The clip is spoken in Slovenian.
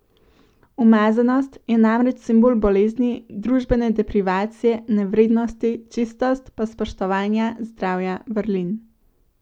Umazanost je namreč simbol bolezni, družbene deprivacije, nevrednosti, čistost pa spoštovanja, zdravja, vrlin.